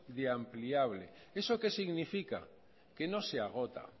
de ampliable eso qué significa que no se agota